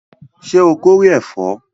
Ṣé o kórè ẹ̀fọ́?